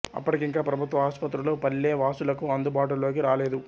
అప్పటికింకా ప్రభుత్వ ఆస్పత్రులు పల్లె వాసులకు అందు బాటు లోకి రాలేదు